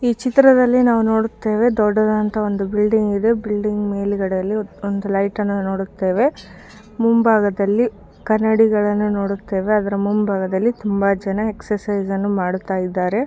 ಈ ಚಿತ್ರದಲ್ಲಿ ನಾವು ನೋಡುತ್ತೇವೆ ದೊಡ್ಡದಂತ ಒಂದು ಬಿಲ್ಡಿಂಗ್ ಇದೆ ಬಿಲ್ಡಿಂಗ್ ಮೇಲೆಗಡೆಯಲ್ಲಿ ಒಂದು ಲೈಟ್ಅನ್ನ ನೋಡುತ್ತೇವ ಮುಂಭಾಗದಲ್ಲಿ ಕನ್ನಡಿಗರನ್ನ ನೋಡುತ್ತೇವೆ ಅದರ ಮುಂಭಾಗದಲ್ಲಿ ತುಂಬಾ ಜನ ಎಕ್ಸರ್ಸೈಸ್ಅನ್ನು ಮಾಡುತ್ತಯಿದ್ದರೆ.